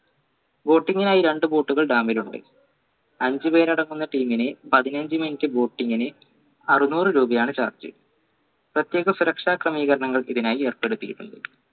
boating നു ആയി രണ്ടു boat കൾ dam ൽ ഉണ്ട് അഞ്ചുപേർ അടക്കുന്ന team നെ പതിനഞ്ച minute boating ന് അറുന്നൂർ രൂപയാണ് charge പ്രത്യേക സുരക്ഷാക്രമീകരണങ്ങൾ ഇതിനായി ഏർപ്പെടുത്തിയിട്ടുണ്ട്